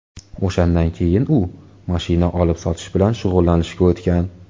O‘shandan keyin u mashina olib-sotish bilan shug‘ullanishga o‘tgan.